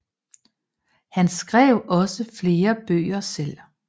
Han skrev også flere bøger selv